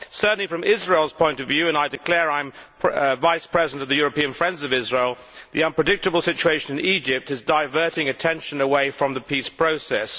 Certainly from Israel's point of view and I declare I am Vice President of the European Friends of Israel the unpredictable situation in Egypt is diverting attention away from the peace process.